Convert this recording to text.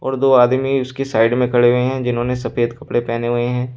और दो आदमी उसकी साइड में खड़े हुए हैं जिन्होंने सफेद कपड़े पहने हुए हैं।